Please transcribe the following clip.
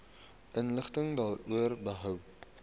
inligting daaroor behoue